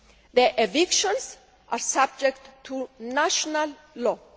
The evictions are subject to national law.